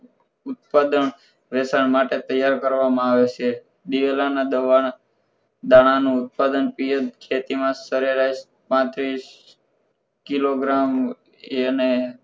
ઉત્પાદન વેચાણ માટે તૈયાર કરવામાં આવે છે દિવેલા ના દવા દાણાનું ઉત્પાદન પિએચ ખેતી માં સરેરાસ પાંત્રીસ કિલોગ્રામ અને